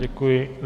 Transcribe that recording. Děkuji.